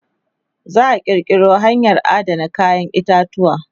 za'a kirkiro hanyan Adana kayan itatuwa